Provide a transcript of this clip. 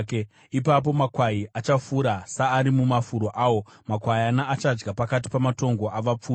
Ipapo makwai achafura saari mumafuro awo; makwayana achadya pakati pamatongo avapfumi.